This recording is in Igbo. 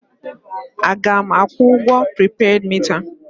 A ga m akwụ ụgwọ pripeed mita a?